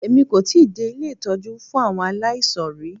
Èmi kò tíì dé ilé ìtọ́jú fún àwọn aláìsàn rí.